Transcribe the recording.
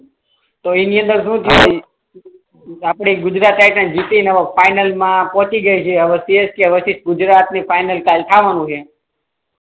તો એની અંદર શું છે આપણી ગુજરાત ટાઇટન્સ જીતી ને ફાઈનલ મા પહોચી ગઈ સીએસકે વચ્ચે ગુજરાત ની ફાઈનલ ટાઈ આવવાનું હે